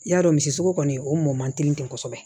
I y'a dɔn misi sogo kɔni o mɔ man teli ten kosɛbɛ